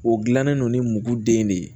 O gilannen don ni muru den de ye